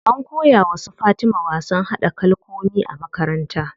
An koya wa su Fatima wasan haɗa kalkomi a makaranta.